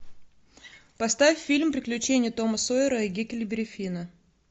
поставь фильм приключения тома сойера и гекльберри финна